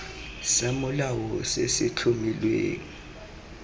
sa molao se se tlhomilweng